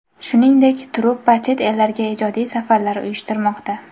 Shuningdek, truppa chet ellarga ijodiy safarlar uyushtirmoqda.